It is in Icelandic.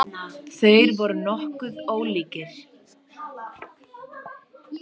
Þeir voru nokkuð ólíkir.